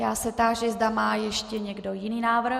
Já se táži, zda má ještě někdo jiný návrh.